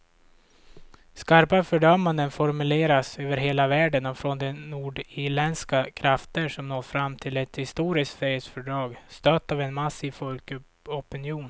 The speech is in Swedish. Skarpa fördömanden formuleras över hela världen och från de nordirländska krafter som nått fram till ett historiskt fredsfördrag, stött av en massiv folkopinion.